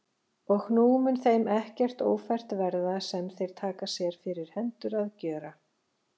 Og nú mun þeim ekkert ófært verða, sem þeir taka sér fyrir hendur að gjöra.